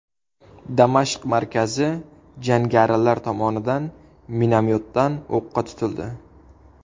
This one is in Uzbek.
Damashq markazi jangarilar tomonidan minomyotdan o‘qqa tutildi.